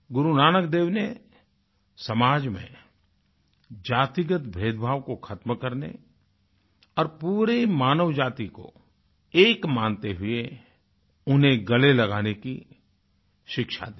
गुरु नानक देव ने समाज में जातिगत भेदभाव को ख़त्म करने और पूरे मानवजाति को एक मानते हुए उन्हें गले लगाने की शिक्षा दी